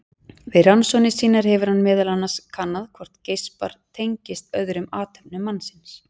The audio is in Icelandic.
Við rannsóknir sínar hefur hann meðal annars kannað hvort geispar tengist öðrum athöfnum mannsins.